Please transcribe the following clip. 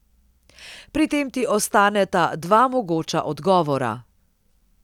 Pri tem ti ostaneta dva mogoča odgovora.